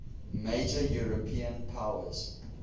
major european powers